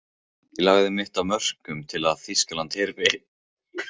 Ég lagði mitt af mörkum til að Þýskaland hyrfi.